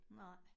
Nej